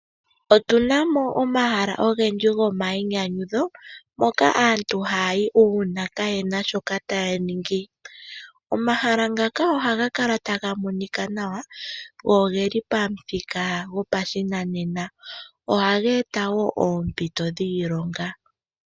Otu na mo omahala ogendji go mmayinyanyudho moka aantu haya yi uuna kayena shoka taya ningi . Omahala ngaka ohaga kala taga monika nawa go ohaga eta woo oompito dhiilonga